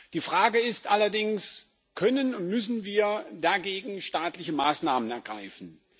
Die Frage ist allerdings Können und müssen wir dagegen staatliche Maßnahmen ergreifen?